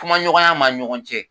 Kumaɲɔgɔnya b'a ni ɲɔgɔn cɛ.